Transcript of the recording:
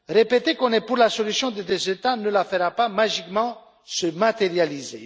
Répéter qu'on est pour la solution des deux États ne la fera pas magiquement se matérialiser.